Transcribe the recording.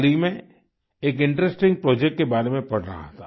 हाल ही में एक इंटरेस्टिंग प्रोजेक्ट के बारे में पढ़ रहा था